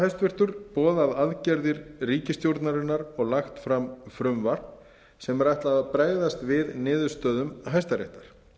ríkisstjórnarinnar boðað aðgerðir ríkisstjórnarinnar og lagt fram frumvarp sem er ætlað að bregðast við niðurstöðum hæstaréttar